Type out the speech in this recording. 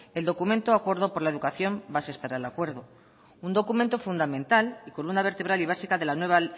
el documento acuerdo por la educación bases para el acuerdo un documento fundamental y con una vertebral y básica de la nueva